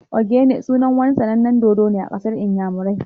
"Ogene" sunan wani sanannen dodo ne a ƙasar inyamurai